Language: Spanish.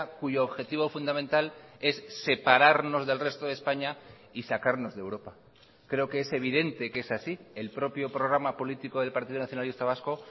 cuyo objetivo fundamental es separarnos del resto de españa y sacarnos de europa creo que es evidente que es así el propio programa político del partido nacionalista vasco